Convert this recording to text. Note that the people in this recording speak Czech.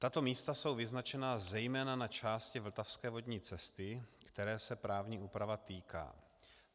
Tato místa jsou vyznačena zejména na části vltavské vodní cesty, které se právní úprava týká.